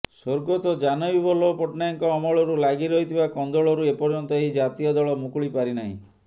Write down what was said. ସ୍ୱର୍ଗତ ଜାନକୀବଲ୍ଲଭ ପଟ୍ଟନାୟକଙ୍କ ଅମଳରୁ ଲାଗି ରହିଥିବା କନ୍ଦଳରୁ ଏପର୍ଯ୍ୟନ୍ତ ଏହି ଜାତୀୟ ଦଳ ମୁକୁଳି ପାରିନାହିଁ